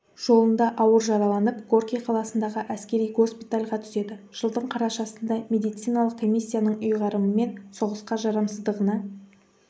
жолында ауыр жараланып горький қаласындағы әскери госпитальға түседі жылдың қарашасында медициналық комиссияның ұйғарымымен соғысқа жарамсыздығына